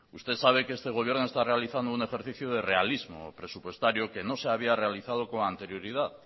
usted sabe que este gobierno está realizando un ejercicio de realismo presupuestario que no se había realizado con anterioridad